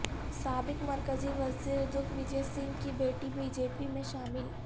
سابق مرکزی وزیر دگ وجے سنگھ کی بیٹی بی جے پی میں شامل